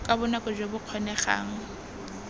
ka bonako jo bo kgonegang